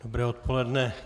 Dobré odpoledne.